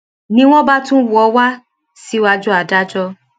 ni wọn bá tún wò ó wá síwájú adájọ